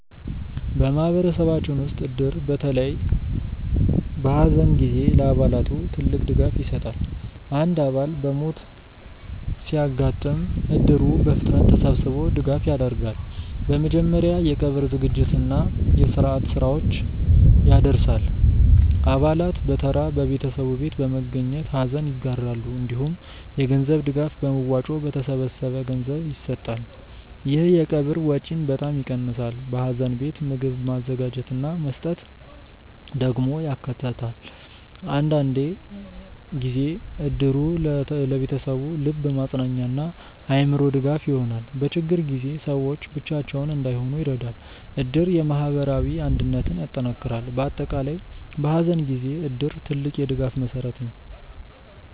በማህበረሰባችን ውስጥ እድር በተለይ በሐዘን ጊዜ ለአባላቱ ትልቅ ድጋፍ ይሰጣል። አንድ አባል በሞት ሲያጋጥም እድሩ በፍጥነት ተሰብስቦ ድጋፍ ያደርጋል። በመጀመሪያ የቀብር ዝግጅት እና የስርዓት ስራዎችን ያደርሳል። አባላት በተራ በቤተሰቡ ቤት በመገኘት ሐዘን ይጋራሉ። እንዲሁም የገንዘብ ድጋፍ በመዋጮ በተሰበሰበ ገንዘብ ይሰጣል። ይህ የቀብር ወጪን በጣም ይቀንሳል። በሐዘን ቤት ምግብ ማዘጋጀት እና መስጠት ደግሞ ያካተታል። አንዳንድ ጊዜ እድሩ ለቤተሰቡ ልብ ማጽናኛ እና አእምሮ ድጋፍ ይሆናል። በችግር ጊዜ ሰዎች ብቻቸውን እንዳይሆኑ ይረዳል። እድር የማህበራዊ አንድነትን ያጠናክራል። በአጠቃላይ በሐዘን ጊዜ እድር ትልቅ የድጋፍ መሠረት ነው።